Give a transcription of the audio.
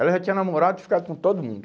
Ela já tinha namorado e ficado com todo mundo.